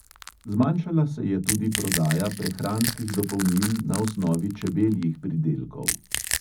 Zmanjšala se je tudi prodaja prehranskih dopolnil na osnovi čebeljih pridelkov.